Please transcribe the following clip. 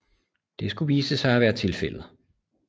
Det skulle vise sig at være tilfældet